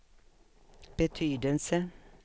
betydelse